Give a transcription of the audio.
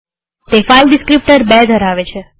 તે file descriptor ૨ ધરાવે છે